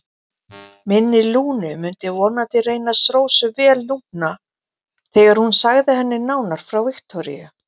Minni Lúnu myndi vonandi reynast Rósu vel núna þegar hún segði henni nánar frá Viktoríu.